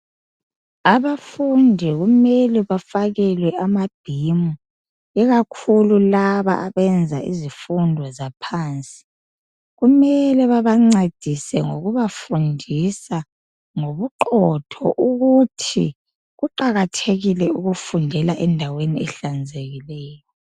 Abafundi kumele bafakelwe amabhimu, ikakhulu laba abenza izifundo zaphansi. Kumele babancedise ngokubafundisa ngobuqotho ukuthi kuqakathekile ukufundela endaweni ehlanzekileyo.